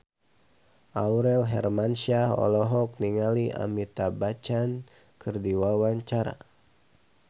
Aurel Hermansyah olohok ningali Amitabh Bachchan keur diwawancara